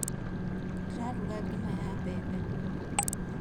Ndĩraruga ngima ya mbembe